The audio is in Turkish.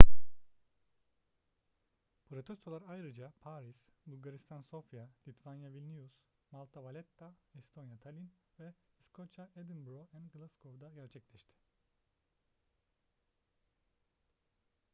protestolar ayrıca paris bulgaristan sofya litvanya vilnius malta valetta estonya tallinn ve i̇skoçya edinburgh ve glasgow'da gerçekleşti